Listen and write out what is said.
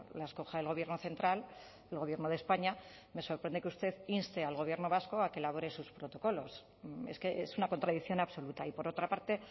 las coja el gobierno central el gobierno de españa me sorprende que usted inste al gobierno vasco a que elabore sus protocolos es que es una contradicción absoluta y por otra parte